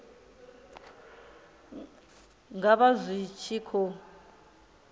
nga vha zwi tshi khou